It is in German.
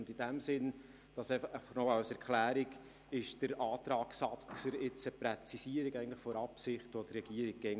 Und in diesem Sinn – und das nur als Erklärung – stellt der Antrag Saxer eine Präzisierung der Absicht der Regierung dar.